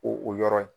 O o yɔrɔ in